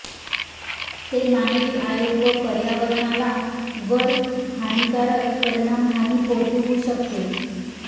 ते मानवी आरोग्य व पर्यावरणाला वर हानिकारक परिणाम हानी पोहोचवू शकते